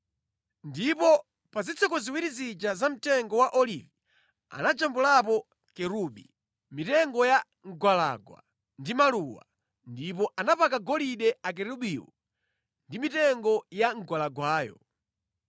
Ndipo pa zitseko ziwiri zija za mtengo wa olivi anajambulapo kerubi, mitengo ya mgwalangwa ndi maluwa ndipo anapaka golide akerubiwo ndi mitengo ya mgwalangwayo.